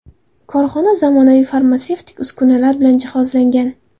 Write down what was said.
Korxona zamonaviy farmatsevtik uskunalar bilan jihozlangan.